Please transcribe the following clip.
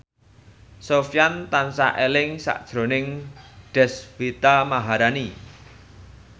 Sofyan tansah eling sakjroning Deswita Maharani